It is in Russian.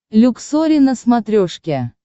люксори на смотрешке